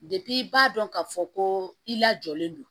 i b'a dɔn ka fɔ ko i lajɔlen don